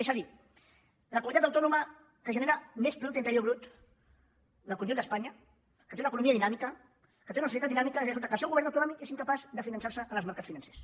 és a dir la comunitat autònoma que genera més producte interior brut del conjunt d’espanya que té una economia dinàmica que té una societat dinàmica ara resulta que el seu govern autonòmic és incapaç de finançar se en els mercats financers